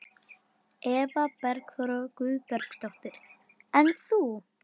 Eva Bergþóra Guðbergsdóttir: En þú?